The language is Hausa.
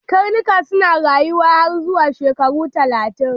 Karnuka suna rayuwa har zuwa shekaru talatin.